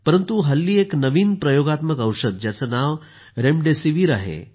परंतु हल्ली एक नवीन प्रयोगात्मक औषध ज्याचं नाव रेमडेसिवीर आहे